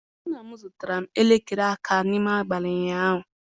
Nna m zụtara m elekere aka n'abalị ụnyaahụ